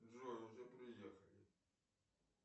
джой уже приехали